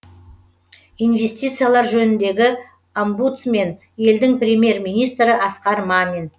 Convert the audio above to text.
инвестициялар жөніндегі омбудсмен елдің премьер министрі асқар мамин